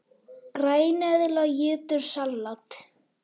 Græneðla étur salat!